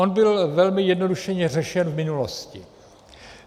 On byl velmi zjednodušeně řešen v minulosti.